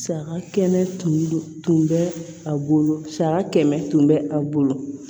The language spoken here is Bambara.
Saga kɛnɛ tun bɛ a bolo saga kɛmɛ tun bɛ a bolo